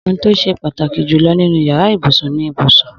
Ohun tó ṣe pàtàkì jù lọ nínú yàrá ibùsùn ni ibùsùn